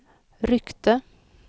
ryckte